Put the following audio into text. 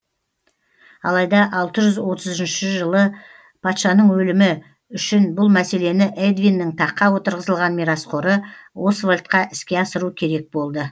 алайда алты жүз отыз үшінші жылы патшаның өлімі үшін бұл мәселені эдвиннің таққа отырғызылған мирасқоры освальдқа іске асыру керек болды